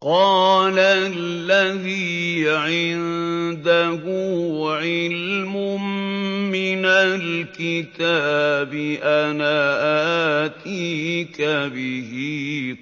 قَالَ الَّذِي عِندَهُ عِلْمٌ مِّنَ الْكِتَابِ أَنَا آتِيكَ بِهِ